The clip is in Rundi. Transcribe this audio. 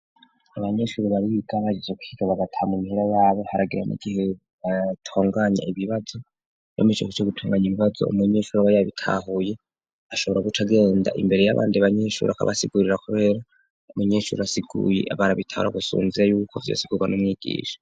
Abanyeshuri bari biiga bageze kuhiga bagata m mihera yabo haragaye mu gihe tunganya ibibazo bamiseko cyo gutunganya imibazo umunyeshuri abay bitahuye ashobora guca genda imbere y'abandi abanyeshuri akabasigurira kubera umunyeshuri asiguye abantu bitahuri gusunzire y'ubuko byose guga na umyigisha.